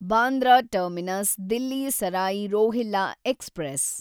Bandra terminus Delhi Sarai Rohilla express